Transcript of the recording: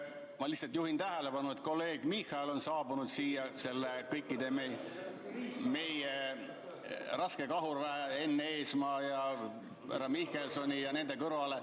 Ma lihtsalt juhin tähelepanu, et kolleeg Michal on saabunud siia kogu selle meie raskekahurväe, Enn Eesmaa ja härra Mihkelsoni ja teiste kõrvale.